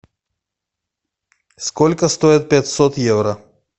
сколько стоит пятьсот евро